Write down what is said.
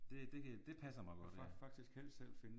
Det det det passer mig godt ja